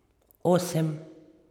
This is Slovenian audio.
Osem?